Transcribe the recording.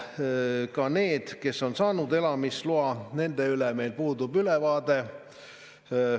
Ka nendest, kes on saanud elamisloa, puudub meil ülevaade.